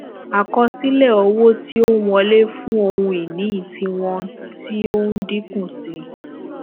àkosile owo tí ó n wọlé fun ohun ìní tiwọn ti o n dínkù sí i